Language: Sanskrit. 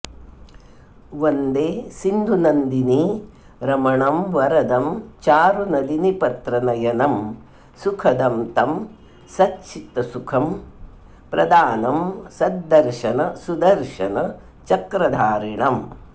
वन्दे सिन्धुनन्दिनी रमणं वरदं चारु नलिनीपत्र नयनं सुखदं तं सच्चित्सुख प्रदानं सद्दर्शन सुदर्शन चक्रधारिणम्